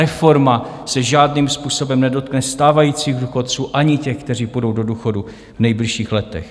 Reforma se žádným způsobem nedotkne stávajících důchodců, ani těch, kteří půjdou do důchodu v nejbližších letech.